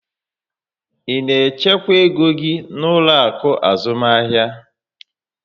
Ị na echekwa égo gị n'ụlọ akụ azụmahịa?